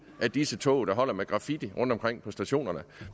til disse tog der holder med graffiti rundtomkring på stationerne